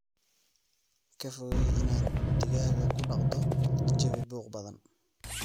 Ka fogey inaad digaaga ku dhaqdo jawi buuq badan.